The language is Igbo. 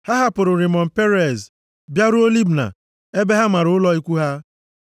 Ha hapụrụ Rimon-Perez bịaruo Libna ebe ha mara ụlọ ikwu ha.